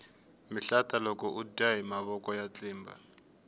mihlata loko udya hi matlotlo ya tlimba